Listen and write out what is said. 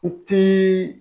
U ti